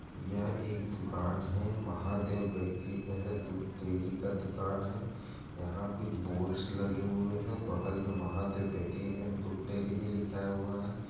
यह एक दुकान है महादेव बेकरी एंड दूध डेयरी का दुकान हैं यहाँ कुछ बोर्ड्स लगे हुए है बगल में महादेव बेकरी एंड दूध डेयरी भी लिखाया हुआ है।